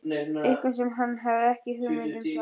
Eitthvað sem hann hafði ekki hugmynd um sjálfur.